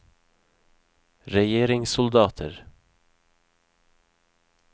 regjeringssoldater